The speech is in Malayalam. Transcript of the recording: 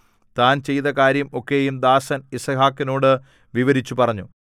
താൻ ചെയ്ത കാര്യം ഒക്കെയും ദാസൻ യിസ്ഹാക്കിനോടു വിവരിച്ചു പറഞ്ഞു